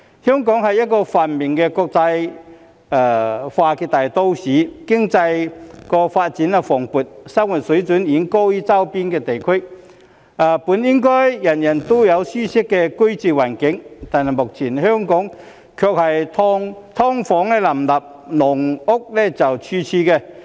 香港是一個繁榮的國際化大都市，經濟發展蓬勃，生活水平遠高於周邊地區，本應人人都擁有舒適的居住環境，但目前卻是"劏房"林立、"籠屋"處處。